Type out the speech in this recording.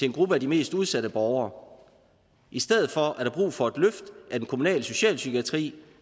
en gruppe af de mest udsatte borgere i stedet for er der brug for et løft af den kommunale socialpsykiatri